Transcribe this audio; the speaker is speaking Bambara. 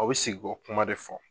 Aw bɛ sigi k'o kuma de fɔ